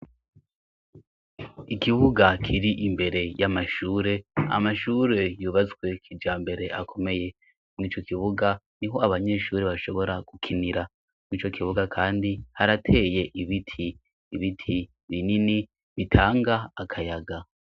Ikibuga kiri imbere y'amashure amashure yubatswe kija mbere akomeye mw'ico kibuga ni ho abanyeshuri bashobora gukinira mwi co kibuga, kandi harateye ibiti ibiti binini bitanga akayaga.